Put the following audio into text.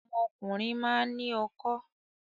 Ọmọkùnrin máa ń ní okó.